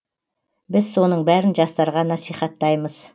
біз соның бәрін жастарға насихаттаймыз